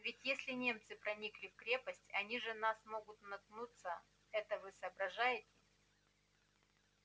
ведь если немцы проникли в крепость они же на нас могут наткнуться это вы соображаете